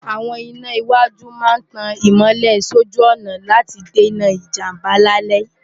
àwọn iná iwájú máa ń tan ìmọ́lẹ̀ sójú ọ̀nà láti dènà ìjàmbá lálẹ́